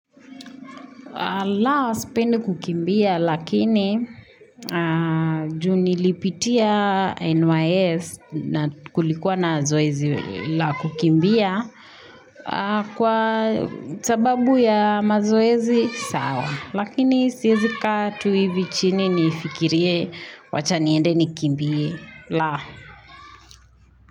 Laos pende kukimbia lakini juni lipitia NYS kulikuwa na zoezi la kukimbia Kwa sababu ya mazoezi sawa Lakini siyezi katu hivi chini nifikirie wachaniende nikimbie Laos.